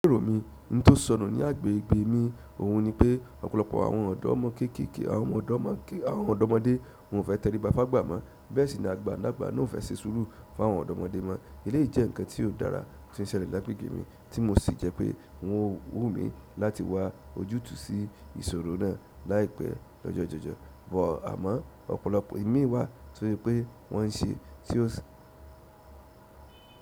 Lèrò mi, n tó sọnù ní agbègbè mi, òhun ni pé ọ̀pọ̀lọpọ̀ àwọn ọ̀dọ́mọ kékèké àwọn ọ̀dọ́mọké àwọn ọ̀dọ́mọdé wòn ò fẹ́ tẹríba fágba mọ́, bẹ́ẹ̀ sì ni agbalàgbà náà ò fẹ́ ṣe sùúrù fún àwọn ọ̀dọ́mọdé mọ́. Eléyìí jẹ́ ǹkan tí ó dára tí ń ṣẹlẹ̀ lagbègbè mi, tí mo sì jẹ́ pé wọn wù mí láti wá ojútùú sí ìṣòro náà láìpẹ́ lọ́jọ́jọ̀jọ̀. Bọ̀ àmọ́, ọ̀pọ̀lọpọ̀ imií wà to se pé wọ́n ń ṣe tí ó si.